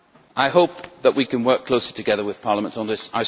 I hope that we can work closely together with Parliament on this.